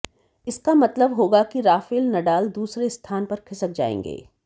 इसका मतलब होगा कि राफेल नडाल दूसरे स्थान पर खिसक जाएंगे